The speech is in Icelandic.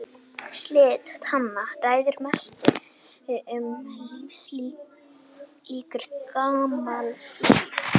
Slit tanna ræður mestu um lífslíkur gamals fíls.